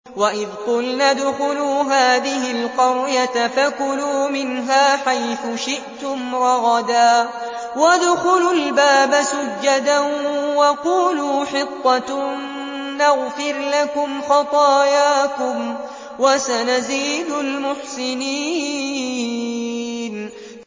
وَإِذْ قُلْنَا ادْخُلُوا هَٰذِهِ الْقَرْيَةَ فَكُلُوا مِنْهَا حَيْثُ شِئْتُمْ رَغَدًا وَادْخُلُوا الْبَابَ سُجَّدًا وَقُولُوا حِطَّةٌ نَّغْفِرْ لَكُمْ خَطَايَاكُمْ ۚ وَسَنَزِيدُ الْمُحْسِنِينَ